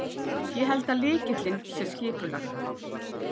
Ég held að lykillinn sé skipulag.